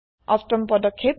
অষ্টম পদক্ষেপ